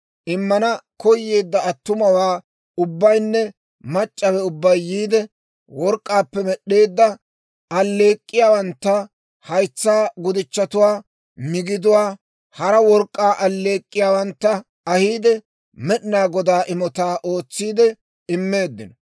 Immana koyeedda attumawaa ubbaynne mac'c'awe ubbay yiide, work'k'aappe med'd'eedda alleek'k'iyaawantta, haytsaa gudichchatuwaa, migidatuwaa, hara work'k'aa alleek'k'iyaawantta ahiide Med'inaa Godaw imotaa ootsiidde immeeddino.